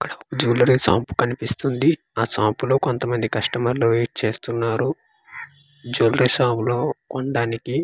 అక్కడ jewellery shop కనిపిస్తుంది ఆ షాంప్ లో కొంతమంది కస్టమర్ లు వెయిట్ చేస్తున్నారు జులరీ షాప్ లో కొండానికి .